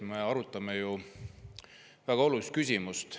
Me arutame ju väga olulist küsimust.